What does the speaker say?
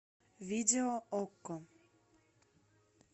видео окко